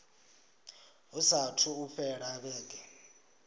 hu saathu u fhela vhege